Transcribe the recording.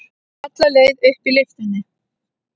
Alla leið upp í lyftunni.